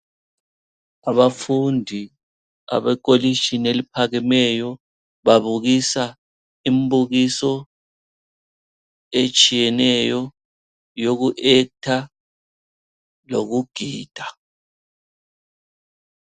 Abafundi abekolitshini eliphakemeyo babukisa imibukiso etshiyeneyo yoku actor lokugida.